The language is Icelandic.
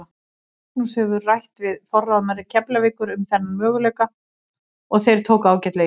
Magnús hefur rætt við forráðamenn Keflavíkur um þennan möguleika og þeir tóku ágætlega í það.